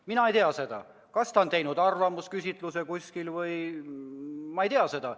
Mina ei tea, kas ta on ehk teinud kuskil arvamusküsitluse – ma ei tea seda.